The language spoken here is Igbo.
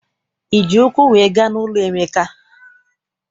Iji ụkwụ wee gaa n'ụlọ Emeka?